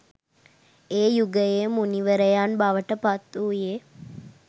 ඒ යුගයේ මුනිවරයන් බවට පත්වූයේ